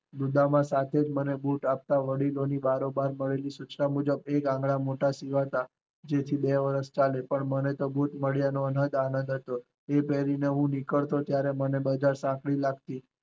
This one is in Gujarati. દમામ એ મને બુટ આપતા મને વડીલો પાસે થઈ સૂચના મળેલી મુજબ આંગળા મોટા સીવ્યા હતાજેના લીધે બે વર્ષ ચાલે, પણ મને તો બુટ મળવાનો આનંદ હતો, તે પેહરી ને હું નીકળતો ત્યારે બજાર માં સાંકળી લગતી.